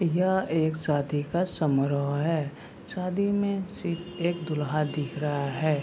यह एक शादी का समारोह है । शादी मे सिर्फ एक दूल्हा दिख रहा है ।